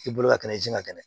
I bolo ka kɛnɛ i jija ka kɛnɛ